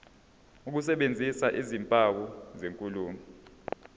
ukusebenzisa izimpawu zenkulumo